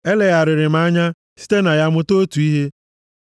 Elegharịrị m ya anya site na ya mụta otu ihe a: